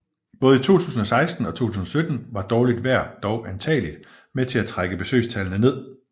Både i 2016 og 2017 var dårligt vejr dog antageligt med til at trække besøgstallene ned